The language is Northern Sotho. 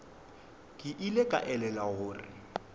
ke ile ka elelwa gore